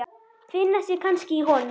Finna sig kannski í honum.